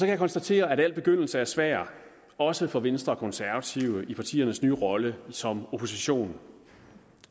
jeg konstatere at al begyndelse er svær også for venstre og konservative i partiernes nye rolle som opposition